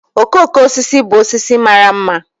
Okooko osisi bụ osisi mara ḿmà